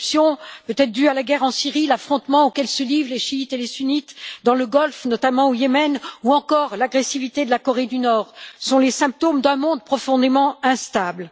L'éruption peut être due à la guerre en Syrie, à l'affrontement auquel se livrent les chiites et les sunnites dans le Golfe, notamment au Yémen, ou encore à l'agressivité de la Corée du Nord, qui sont les symptômes d'un monde profondément instable.